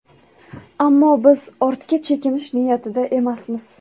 Ammo biz ortga chekinish niyatida emasmiz.